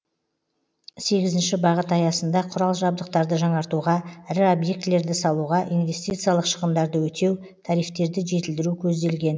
сегізінші бағыт аясында құрал жабдықтарды жаңартуға ірі объектілерді салуға инвестициялық шығындарды өтеу тарифтерді жетілдіру көзделген